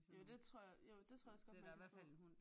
Jo det tror jeg jo det tror jeg også godt man kan få